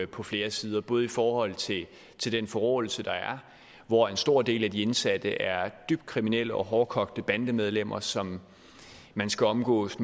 på flere sider både i forhold til den forråelse der er hvor en stor del af de indsatte er dybt kriminelle og hårdkogte bandemedlemmer som man skal omgås